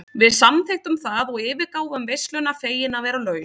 Við samþykktum það og yfirgáfum veisluna fegin að vera laus.